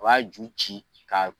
U b'a ju ci k'a